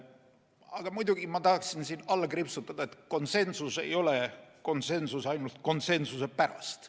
Aga ma tahan siin alla kriipsutada, et konsensus ei ole konsensus ainult konsensuse pärast.